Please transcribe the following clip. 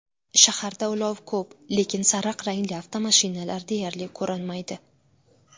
Shaharda ulov ko‘p, lekin sariq rangli avtomashinalar deyarli ko‘rinmaydi.